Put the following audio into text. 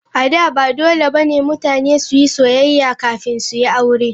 A da, ba dole ba ne mutane su yi soyayya kafin su yi aure.